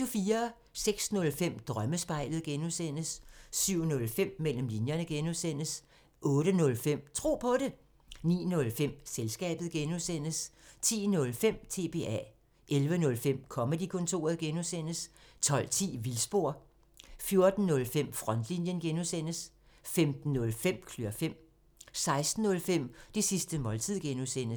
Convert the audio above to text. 06:05: Drømmespejlet (G) 07:05: Mellem linjerne (G) 08:05: Tro på det 09:05: Selskabet (G) 10:05: TBA 11:05: Comedy-kontoret (G) 12:10: Vildspor 14:05: Frontlinjen (G) 15:05: Klør fem 16:05: Det sidste måltid (G)